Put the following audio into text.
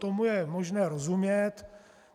Tomu je možné rozumět.